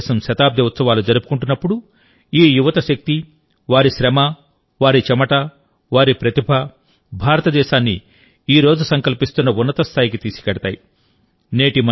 భారతదేశం శతాబ్ది ఉత్సవాలు జరుపుకుంటున్నప్పుడుఈ యువత శక్తి వారి శ్రమ వారి చెమట వారి ప్రతిభ భారతదేశాన్ని ఈ రోజు సంకల్పిస్తున్న ఉన్నత స్థాయికి తీసుకెళ్తాయి